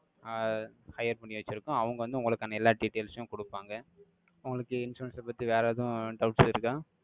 ஆஹ் hire பண்ணி வச்சிருக்கோம். அவங்க வந்து, உங்களுக்கான, எல்லா details உம், கொடுப்பாங்க. உங்களுக்கு, insurance அ பத்தி, வேற எதுவும், doubts இருக்கா